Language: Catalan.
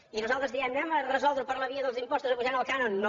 i nosaltres diem resolguem ho per la via dels impostos apujant el cànon no